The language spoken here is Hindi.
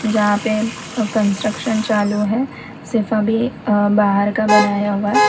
जहां पे कंस्ट्रक्शन चालू है सिर्फ अभी बाहर का बनाया हुआ है।